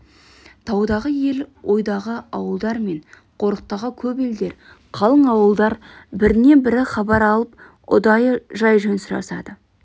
таудағы ел ойдағы ауылдар мен қорықтағы көп елдер қалың ауылдар бірінен бірі хабар алып ұдайы жай-жөн сұрасады